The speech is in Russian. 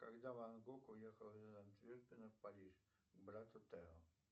когда ван гог уехал из антверпена в париж к брату тео